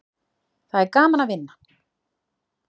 Það er gaman að vinna.